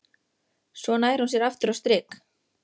Svo nær hún sér aftur á strik.